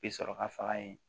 Bi sɔrɔ ka faga yen